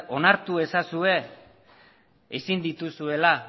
onartu ezazue ezin dituzuela